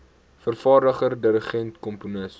vervaardiger dirigent komponis